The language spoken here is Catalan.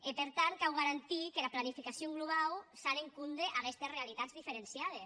e per tant cau garantir qu’ena planificacion globau se tien en compde aguestes realitats diferenciades